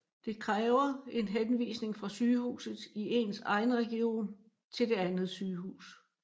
Det kræver en henvisning fra sygehuset i ens region til det andet sygehus